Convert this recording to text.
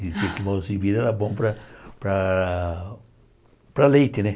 Diziam que era bom para para para leite, né?